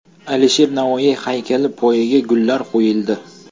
Alisher Navoiy haykali poyiga gullar qo‘yildi.